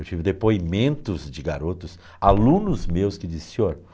Eu tive depoimentos de garotos, alunos meus, que diziam, senhor...